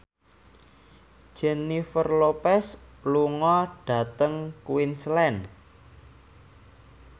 Jennifer Lopez lunga dhateng Queensland